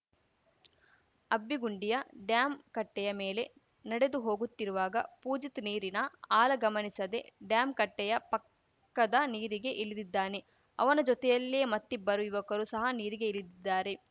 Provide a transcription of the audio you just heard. ಅಬ್ಬಿಗುಂಡಿಯ dam ಕಟ್ಟೆಯ ಮೇಲೆ ನಡೆದು ಹೋಗುತ್ತಿರುವಾಗ ಪೂಜಿತ್‌ ನೀರಿನ ಆಲ ಗಮನಿಸದೆ ಡ್ಯಾಂ ಕಟ್ಟೆಯ ಪಕ್ಕದ ನೀರಿಗೆ ಇಲಿದಿದ್ದಾನೆ ಅವನ ಜೊತೆಯಲ್ಲೇ ಮತ್ತಿಬ್ಬರು ಯುವಕರು ಸಹ ನೀರಿಗೆ ಇಲಿದಿದ್ದಾರೆ